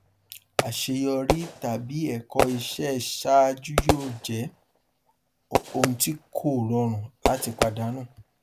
àṣeyọrí tàbí ẹkọ ìṣe ṣáájú yóò jẹ ohun tí kò rọrùn láti pàdánù